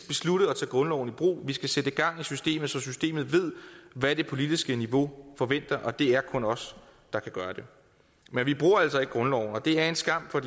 beslutte at tage grundloven i brug vi skal sætte gang i systemet så systemet ved hvad det politiske niveau forventer og det er kun os der kan gøre det men vi bruger altså ikke grundloven og det er en skam for